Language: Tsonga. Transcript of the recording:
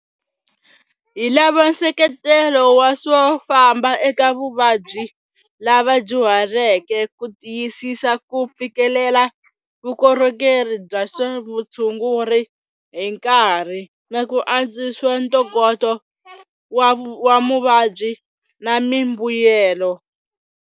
Hi lava nseketelo wa swo famba eka vuvabyi lava dyuhaleke ku tiyisisa ku fikelela vukorhokeri bya swa vutshunguri hi nkarhi, na ku antswisa ntokoto wa muvabyi na mimbuyelo.